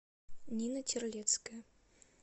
нина терлецкая